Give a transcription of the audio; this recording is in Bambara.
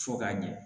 Fo k'a ɲɛ